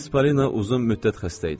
Miss Palina uzun müddət xəstə idi.